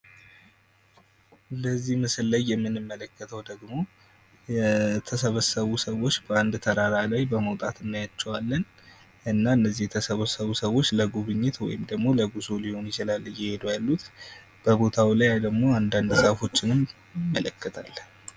በዚህ ምስል ላይ የምንመለከተው ደግሞ የተሰበሰቡ ሰዎች በአንድ ተራራ በመውጣት እናያቸዋለን። እና እነዚህ የተሰበሰቡ ሰዎች ለጉብኝት ወይም ለጉዞ ሊሆን ይችላል እየሄዱ ያሉት። በቦታው ላይ አንዳንድ ዛፎች እንመለከታለን።